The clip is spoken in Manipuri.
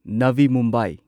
ꯅꯚꯤ ꯃꯨꯝꯕꯥꯏ